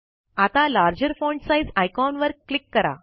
आता larger font size icon वर click करा